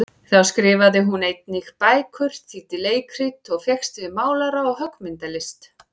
Þá skrifaði hún einnig bækur, þýddi leikrit, og fékkst við málara- og höggmyndalist.